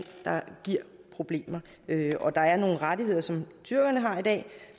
der giver problemer og der er nogle rettigheder som tyrkerne har i dag